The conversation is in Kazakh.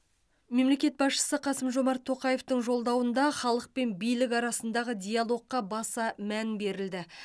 мемлекет басшысы қасым жомарт тоқаевтың жолдауында халық пен билік арасындағы диалогқа баса мән берілді